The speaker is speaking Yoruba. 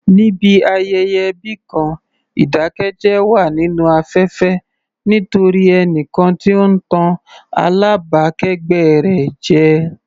Níbi ayẹyẹ ẹbí kan, ìdákẹ́jẹ́ wà nínú afẹ́fẹ́ nítorí ẹnìkan tí ó ń tàn alábàákẹ́gbẹ́ rẹ̀ jẹ.